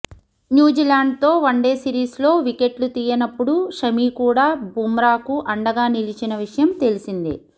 న్యూజిలాండ్తో వన్డే సిరీస్లో వికెట్లు తీయనప్పుడు షమీ కూడా బుమ్రాకు అండగా నిలిచిన విషయం తెలిసిందే